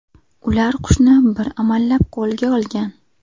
Ular qushni bir amallab qo‘lga olgan.